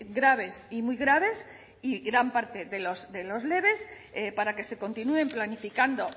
graves y muy graves y gran parte de los leves para que se continúen planificando